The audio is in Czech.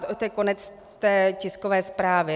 To je konec té tiskové zprávy.